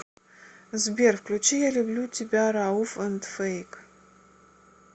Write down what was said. сбер включи я люблю тебя рауф энд фэйк